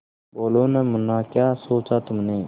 बोलो न मुन्ना क्या सोचा तुमने